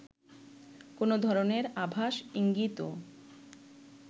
কোনো ধরনের আভাস ইঙ্গিতও